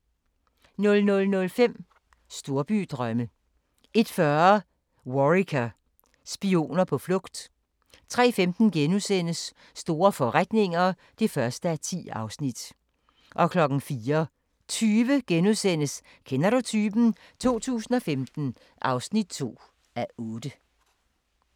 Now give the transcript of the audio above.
00:05: Storbydrømme 01:40: Worricker: Spioner på flugt 03:15: Store forretninger (1:10)* 04:20: Kender du typen? 2015 (2:8)*